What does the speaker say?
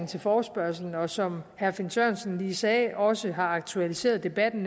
til forespørgslen og som herre finn sørensen lige sagde også har aktualiseret debatten